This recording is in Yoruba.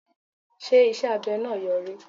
Ṣé iṣẹ́ abẹ náà Yọrí.?